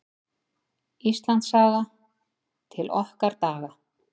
Íslandssaga: til okkar daga.